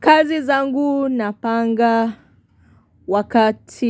Kazi zangu napanga wakati